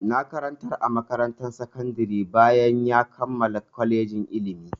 Na koyar a makarantar sakandari bayan ya kammala kolejin ilimi.